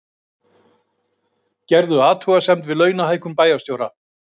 Gerðu athugasemd við launahækkun bæjarstjóra